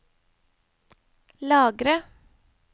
lagre